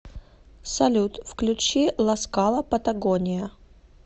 салют включи ласкала патагония